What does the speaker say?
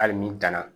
Hali ni danna